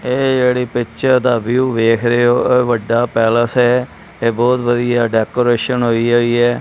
ਇਹ ਜਿਹੜੀ ਪਿਕਚਰ ਦਾ ਵਿਊ ਦੇਖ ਰਹੇ ਹੋ ਇਹ ਵੱਡਾ ਪੈਲਸ ਹੈ ਇਹ ਬਹੁਤ ਵਧੀਆ ਡੈਕੋਰੇਸ਼ਨ ਹੋਈ ਹੋਈ ਏ।